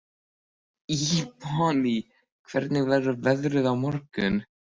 Ebonney, hvernig verður veðrið á morgun?